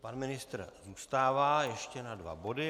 Pan ministr zůstává ještě na dva body.